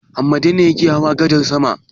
Hammada ne yake hawa gadar sama.